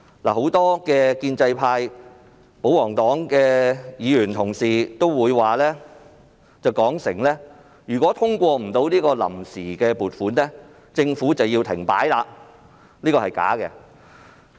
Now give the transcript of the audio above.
很多建制派及保皇黨的議員同事聲言，如未能通過臨時撥款，政府便會停擺，但這是假的。